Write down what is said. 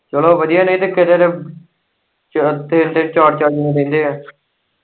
ਚੱਲੋ ਵਧੀਆ ਨਈ ਕਿਤੇ ਤੇ ਤਿੰਨ-ਤਿੰਨ ਚਾਰ-ਚਾਰ ਜਣੇ ਰਹਿੰਦੇ ਏ।